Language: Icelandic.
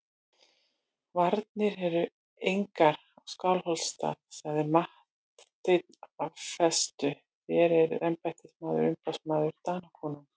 Varnir eru engar á Skálholtsstað, sagði Marteinn af festu,-þér eruð embættismaður og umboðsmaður Danakonungs.